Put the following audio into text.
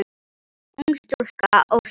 Ung stúlka óskar.